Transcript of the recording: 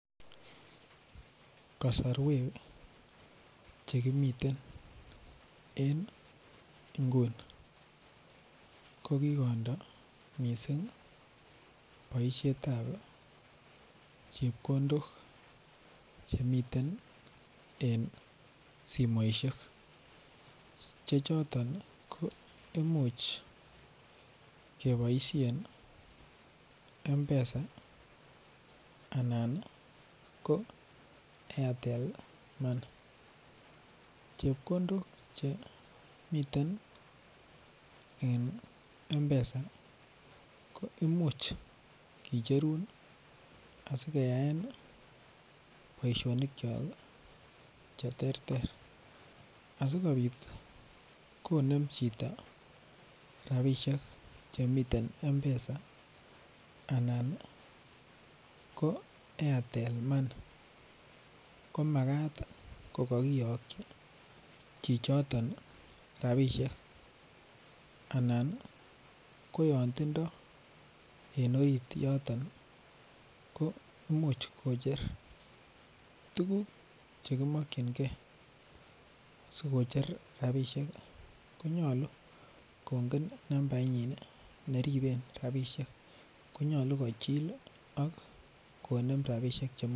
Kasarwek Che kimiten en nguni ko ki kondo mising boisiet ab chepkondok chemiten en simoisiek Che choton ko Imuch keboisien mpesa anan ko airtel money chepkondok Che miten en mpesa ko Imuch kicherun asi keyaen boisionikyok Che terter asikobit konem chito rabisiek Che miten mpesa anan ko airtel money ko Makat ko kokiyokyi chichoton rabisiek anan ko yon tindoi en orit yoton ko Imuch kocher tuguk Che kimakyinge asi kocher rabisiek ko nyolu kongen nambainyin neboisien rabisiek ko nyolu kochil ak konem rabisiek